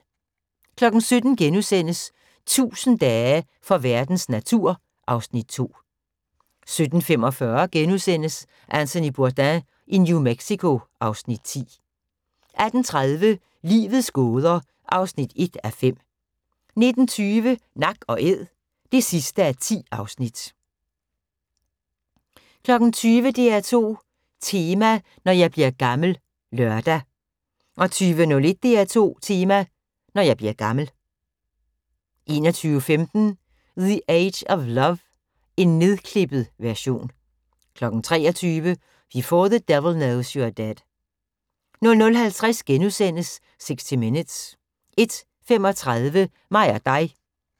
17:00: 1000 dage for verdens natur (Afs. 2)* 17:45: Anthony Bourdain i New Mexico (Afs. 10)* 18:30: Livets gåder (1:5) 19:20: Nak & æd (10:10) 20:00: DR2 Tema: Når jeg bliver gammel (lør) 20:01: DR2 Tema: Når jeg bliver gammel 21:15: The Age of Love (nedklippet version) 23:00: Before the Devil Knows You're Dead 00:50: 60 Minutes * 01:35: Mig og Dig